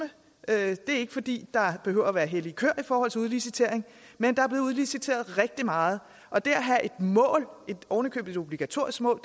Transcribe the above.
det er ikke fordi der behøver være hellige køer i forhold til udlicitering men der er blevet udliciteret rigtig meget og det at have et mål ovenikøbet et obligatorisk mål